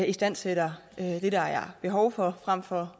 istandsætter det der er behov for frem for